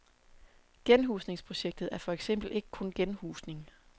Genhusningsprojektet er for eksempel ikke kun genhusning.